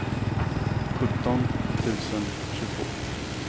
sjutton tusen tjugotvå